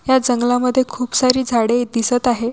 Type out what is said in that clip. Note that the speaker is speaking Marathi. या जंगलामध्ये खूप सारी झाडे दिसत आहे.